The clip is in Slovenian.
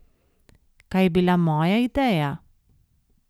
Kaj je bila moja ideja?